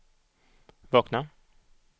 vakna